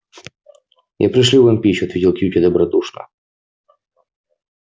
я пришлю вам пищу ответил кьюти добродушно